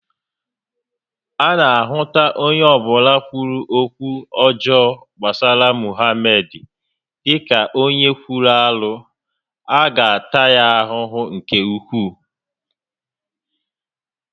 A na ahụta onye ọbụla kwuru okwu ọjọọ gbasara Mohamed dịka onye kwuru arụ, a ga-ata ya ahụhụ nke ukwuu